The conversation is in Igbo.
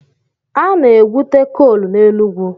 Ana-egwute kool n'Enugwu.